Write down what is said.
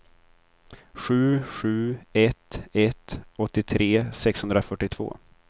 sju sju ett ett åttiotre sexhundrafyrtiotvå